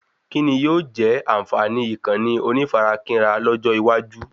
Kíni yóò jẹ́ ànfààní Ìkànnì onífarakínra lọ́jọ́ iwájú?